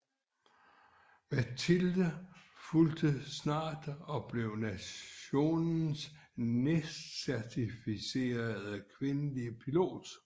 Matilde fulgte snart og blev nationens næstcertificerede kvindelige pilot